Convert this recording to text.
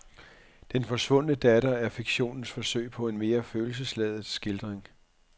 Den forsvundne datter er fiktionens forsøg på en mere følelsesladet skildring.